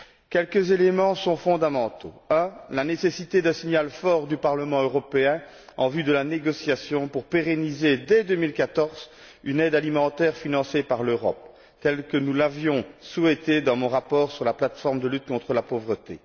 Quelques éléments sont fondamentaux. Premièrement, la nécessité d'un signal fort du Parlement européen en vue de la négociation pour pérenniser, dès 2014, une aide alimentaire financée par l'Europe telle que nous l'avions souhaitée dans mon rapport sur la plateforme de lutte contre la pauvreté.